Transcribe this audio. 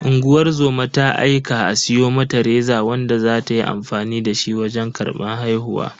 Unguwar zoma ta aika a siyo mata reza wanda za ta yi amfani dashi wajen karban haihuwa.